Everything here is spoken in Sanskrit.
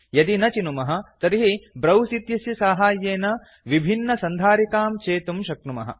यदि न चिनुमः तर्हि ब्राउज़ इत्यस्य साहाय्येन विभिन्नसन्धारिकां चेतुं शक्नुमः